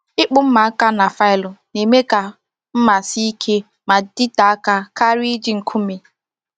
Ịkpụ mma aka na faịlụ na-eme ka mma sie ike ma dịte aka karịa iji nkume